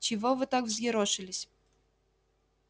чего вы так взъерошились